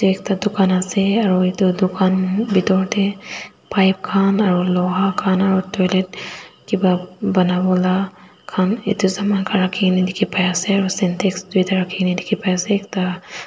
ekta dukan ase aro itu dukan bitor teh pipe khan aro luha khan aro toilet kiba banawola khan itu saman khan dikhi pai ase aro syntex duita rakhijena dikhipai ase aro ekta.